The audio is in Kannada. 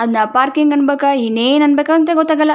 ಅದನ್ನ ಪಾರ್ಕಿಂಗ್ ಅನ್ನಬೇಕಾ ಇನ್ನೇನು ಅನ್ಬೇಕು ಗೊತ್ತಾಗಲ್ಲ.